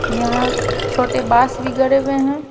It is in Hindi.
यहां छोटे बास भी गड़े हुए हैं।